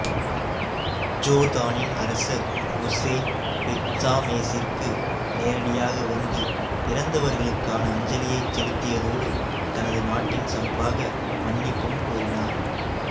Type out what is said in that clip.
ஜோர்தானின் அரசர் உசேன் பெத்சாமேசிற்கு நேரடியாக வந்து இறந்தவர்களுக்கான அஞ்சலியைச் செலுத்தியதோடு தனது நாட்டின் சார்பாக மன்னிப்பும் கோரினார்